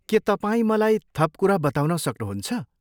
के तपाईँ मलाई थप कुरा बताउन सक्नुहुन्छ?